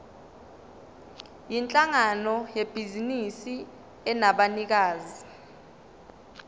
yinhlangano yebhizinisi enabanikazi